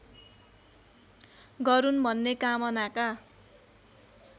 गरून् भन्ने कामनाका